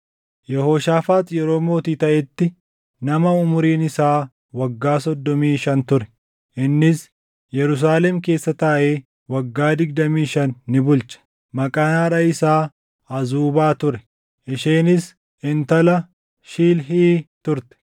Yehooshaafaax yeroo mootii taʼetti nama umuriin isaa waggaa soddomii shan ture; innis Yerusaalem keessa taaʼee waggaa digdamii shan ni bulche. Maqaan haadha isaa Azuubaa ture; isheenis intala Shilhii turte.